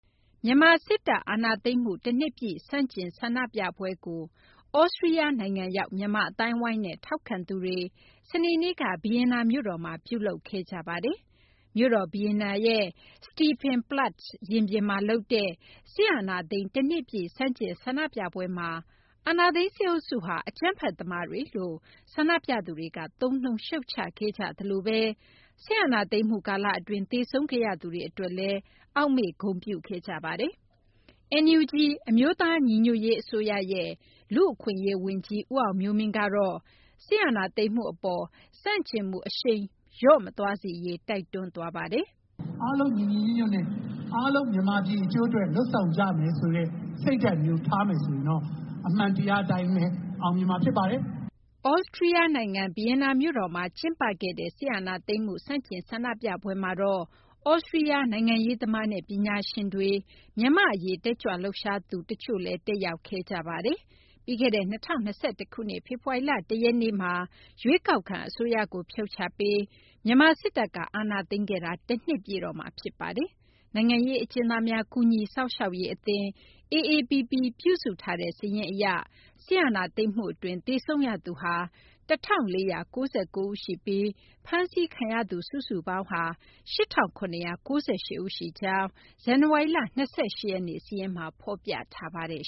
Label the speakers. Speaker 1: မြန်မာစစ်တပ် အာဏာသိမ်းမှု တနှစ်ပြည့် ဆန့်ကျင် ဆန္ဒပြပွဲကို သြစတြီးယားနိုင်ငံရောက် မြန်မာအသိုင်းအဝိုင်းနဲ့ ထောက်ခံသူတွေ စနေနေ့က ဗီယင်နာမြို့တော်မှာ ပြုလုပ်ခဲ့ကြပါတယ်။ မြို့တော် ဗီယင်နာရဲ့ Stephansplatz ရင်ပြင်မှာလုပ်တဲ့ စစ်အာဏာသိမ်း တနှစ်ပြည့် ဆန့်ကျင် ဆန္ဒပြပွဲမှာ အာဏာသိမ်းစစ်အုပ်စုဟာ အကြမ်းဖက်သမားတွေလို့ ဆန္ဒပြသူတွေက သုံးနှုန်းရှုတ်ချခဲ့ကြသလို စစ်အာဏာသိမ်းမှု ကာလအတွင်း သေဆုံးခဲ့ရသူတွေ အတွက်လည်း အောက်မေ့ဂုဏ်ပြုခဲ့ကြပါတယ်။ NUG အမျိုးသားညီညွတ်ရေး အစိုးရရဲ့ လူ့အခွင့်အရေးဝန်ကြီး ဦးအောင်မျိုးမင်းကတော့ စစ်အာဏာသိမ်းမှုအပေါ်မှာ ဆန့်ကျင်မှု အရှိန်လျော့မသွားစေရေး တိုက်တွန်းသွားပါတယ်။
Speaker 2: “အားလုံး ညီညီညွတ်ညွတ်နဲ့ အားလုံး မြန်မာပြည်အကျိုးအတွက် လုပ်ဆောင်ကြမယ်ဆိုတဲ့ စိတ်ဓာတ်မျိုး ထားမယ်ဆိုရင်တော့ အမှန်တရားအတိုင်းပဲ အောင်မြင်မှာ ဖြစ်ပါတယ်။”
Speaker 1: သြစတြီးယားနိုင်ငံ ဗီယင်နာမြို့တော်မှာ ကျင်းပခဲ့တဲ့ စစ်အာဏာသိမ်းမှု ဆန့်ကျင် ဆန္ဒပြပွဲမှာတော့ သြစတြီးယား နိုင်ငံရေးသမားနဲ့ ပညာရှင်တွေ၊ မြန်မာ့အရေး တက်ကြွလှုပ်ရှားသူ တချို့လည်း တက်ရောက်ခဲ့ကြပါတယ်။ ပြီးခဲ့တဲ့ ၂၀၂၁ ခုနှစ် ဖေဖော်ဝါရီလ ၁ ရက်နေ့မှာ ရွေးကောက်ခံ အစိုးရကို ဖြုတ်ချပြီး မြန်မာစစ်တပ်က အာဏာသိမ်းခဲ့တာ တနှစ်ပြည့်တော့မှာ ဖြစ်ပါတယ်။ နိုင်ငံရေးအကျဉ်းသားများ ကူညီစောင့်ရှောက်ရေးအသင်း ပြုစုထားတဲ့ စာရင်းအရ စစ်အာဏာသိမ်းမှုအတွင်း သေဆုံးရသူ ၁,၄၉၉ ဦးရှိပြီး ဖမ်းဆီးခံရသူ ၈,၇၉၈ ဦးရှိနေကြောင်း ဇန်နဝါရီလ ၂၈ ရက်နေ့ စာရင်းမှာ ဖော်ပြထားပါတယ်